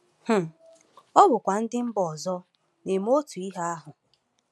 um Ọ̀ bụkwa ndị mba ọzọ na-eme otu ihe ahụ?